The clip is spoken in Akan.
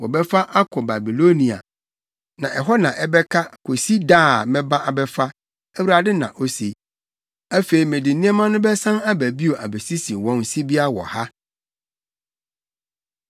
‘Wɔbɛfa akɔ Babilonia, na hɔ na ɛbɛka kosi da a mɛba abɛfa,’ Awurade na ose. ‘Afei mede nneɛma no bɛsan aba bio abesisi wɔn sibea wɔ ha.’ ”